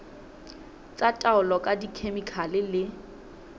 tsa taolo ka dikhemikhale le